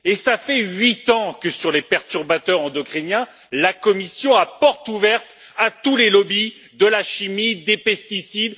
Cela fait huit ans que, sur les perturbateurs endocriniens, la Commission laisse porte ouverte à tous les lobbies de la chimie, des pesticides...